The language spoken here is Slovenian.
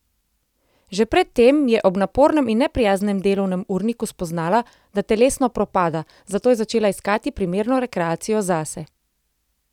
Že pred tem je ob napornem in neprijaznem delovnem urniku spoznala, da telesno propada, zato je začela iskati primerno rekreacijo zase.